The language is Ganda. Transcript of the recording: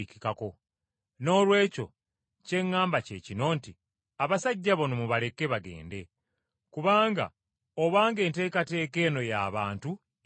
Noolwekyo kye ŋŋamba kye kino nti, Abasajja bano mubaleke bagende! Kubanga, obanga enteekateeka eno y’abantu ejja kukoma.